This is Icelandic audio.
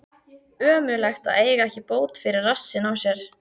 Ömurlegt að eiga ekki bót fyrir rassinn á sér.